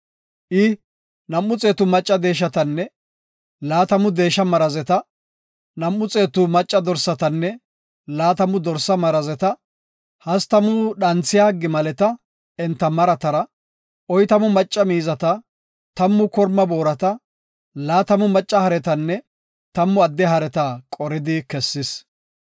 I, nam7u xeetu macca deeshatanne laatamu deesha marazeta, nam7u xeetu macca dorsatanne laatamu dorsa marazeta, hastamu dhanthiya gimaleta enta maratara, oytamu macca miizata, tammu korma boorata, laatamu macca haretanne tammu adde hareta qoridi kessis.